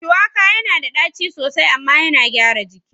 Shuwaka yana da ɗaci sosai amma yana gyara jiki.